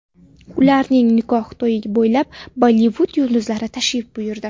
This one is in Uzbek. Ularning nikoh to‘yiga ko‘plab Bollivud yulduzlari tashrif buyurdi.